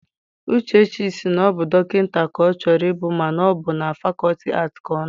Uche sị na ọ bụ dọkịta ka ọ chọrọ ịbụ mana ọ bụ na fakọlti aatị ka ọ nọ.